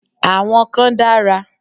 Àwọn kan dára.